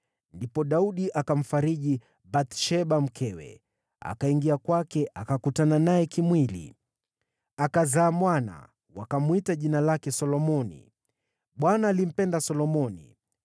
Ndipo Daudi akamfariji Bathsheba mkewe, akaingia kwake akakutana naye kimwili. Akazaa mwana, wakamwita jina lake Solomoni. Bwana alimpenda Solomoni.